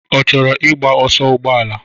Ọ chọrọ igba ọsọ ụgbọala?